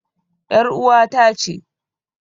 ƴar uwata ce.